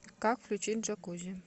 как включить джакузи